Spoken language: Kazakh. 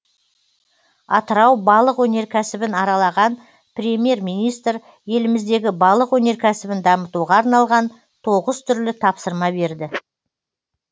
атырау балық өнеркәсібін аралаған премьер министр еліміздегі балық өнеркәсібін дамытуға арналған тоғыз түрлі тапсырма берді